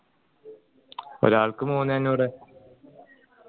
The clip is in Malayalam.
ഒരാൾക്ക് മൂന്നേ അഞ്ഞൂർ